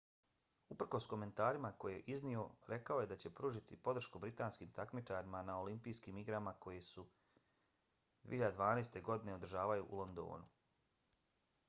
uprkos komentarima koje je iznio rekao je da će pružiti podršku britanskim takmičarima na olimpijskim igrama koje se 2012. godine održavaju u londonu